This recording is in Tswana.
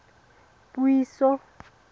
puiso